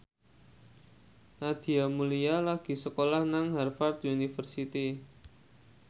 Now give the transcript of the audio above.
Nadia Mulya lagi sekolah nang Harvard university